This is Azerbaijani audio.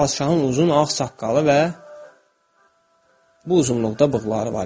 Padşahın uzun ağ saqqalı və bu uzunluqda bığları var idi.